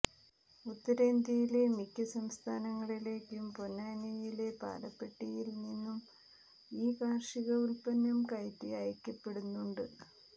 ഉത്തരേന്ത്യയിലെ മിക്ക സംസ്ഥാനങ്ങളിലേക്കും പൊന്നാനിയിലെ പാലപ്പെട്ടിയിൽ നിന്നും ഈ കാർഷിക ഉൽപ്പന്നം കയറ്റി അയയ്ക്കപ്പെടുന്നുണ്ട്